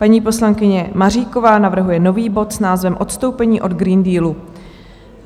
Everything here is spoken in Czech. Paní poslankyně Maříková navrhuje nový bod s názvem odstoupení od Green Dealu.